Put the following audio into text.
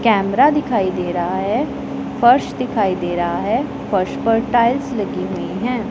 Camera दिखाई दे रहा है फर्श दिखाई दे रहा है फर्श पर टाइल्स लगी हुई है।